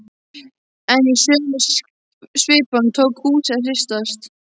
En í sömu svipan tók húsið að hristast.